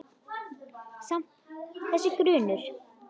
Samt- þessi grunur.